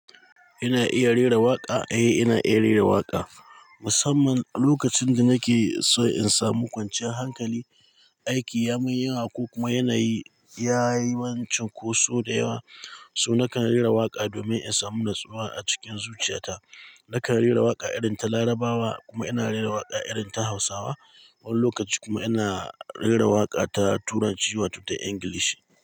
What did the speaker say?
Ina iya rera waƙa? Eh, ina iya rera waƙa. Musamman lokacin da nake so in samu kwanciyar hankali, aiki ya min yawa ko kuma yanayi ya yi min cinkoso da yawa. So nakan rera waƙa domin in samu natsuwa a cikin zuciyata. Nakan rera waƙa irin ta Larabawa kuma ina rera waƙa irin ta Hausawa. Wani lokaci kuma ina rera waƙa ta Turanci wato ta English.